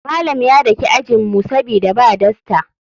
Malam ya daki ajinmu sabida ba dasta.